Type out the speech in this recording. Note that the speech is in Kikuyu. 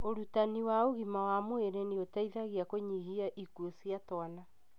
ũrutani wa ũgima wa mwĩrĩ nĩũteithagia kũnyihia ikũo cia twana.